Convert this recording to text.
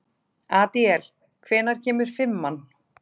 Adíel, hvenær kemur fimman?